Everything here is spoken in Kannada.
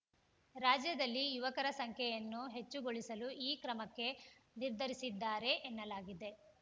ರಾಜ್ಯದಲ್ಲಿ ಯುವಕರ ಸಂಖ್ಯೆಯನ್ನು ಹೆಚ್ಚುಗೊಳಿಸಲು ಈ ಕ್ರಮಕ್ಕೆ ನಿರ್ಧರಿಸಿದ್ದಾರೆ ಎನ್ನಲಾಗಿದೆ